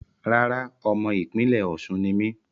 Rárá, ọmọ ìpínlẹ́ Osun ni mí